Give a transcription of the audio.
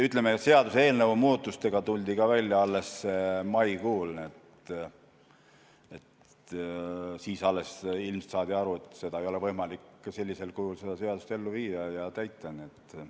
Ütleme, et seaduseelnõu muudatustega tuldi ka välja alles maikuus, nii et alles siis saadi ilmselt aru, et sellisel kujul ei ole võimalik seda seadust ellu viia ja täita.